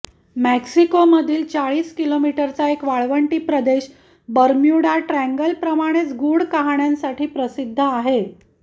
मेक्सिकोमधील चाळीस किलोमीटरचा एक वाळवंटी प्रदेश बर्म्युडा ट्रॅंगलप्रमाणेच गूढ कहाण्यांसाठी प्रसिद्ध आहे